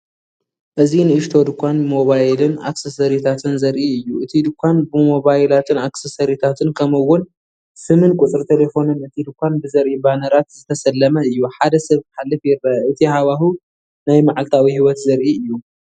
እዚ ንእሽቶ ድኳን ሞባይልን ኣክሰሰሪታትን ዘርኢ እዩ። እቲ ድኳን ብሞባይላትን ኣክሰሰሪታትን ከምኡ እውን ስምን ቁፅሪ ተሌፎንን እቲ ድኳን ብዘርእይ ባነራት ዝተሰለመ እዩ። ሓደ ሰብ ክሓልፍ ይረአ። እቲ ሃዋህው ናይ መዓልታዊ ህይወት ዘርኢ እዩ።